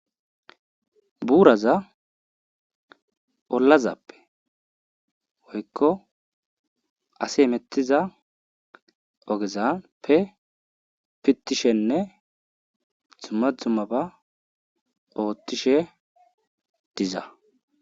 Buuraza ollazappe woykko asi hemettiza ogezappe pittishenne dumma dummaba oottishe diza.